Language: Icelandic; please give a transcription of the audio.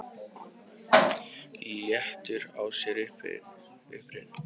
Léttur á sér og upprifinn.